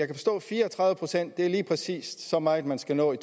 fire og tredive procent lige præcis er så meget man skal nå i